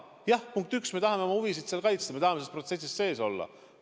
Jah, punkt üks, me tahame oma huvisid kaitsta, me tahame selles protsessis sees olla.